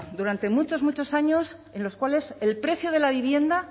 durante muchos muchos años en los cuales el precio de la vivienda